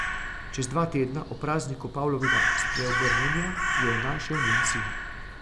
Čez dva tedna, ob prazniku Pavlovega spreobrnjenja, jo je našel njen sin.